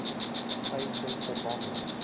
trade center bombing